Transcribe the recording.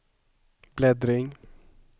bläddring